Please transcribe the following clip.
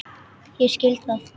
Ég skil það!